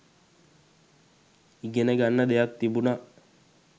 ඉගෙන ගන්න දෙයක් තිබුණා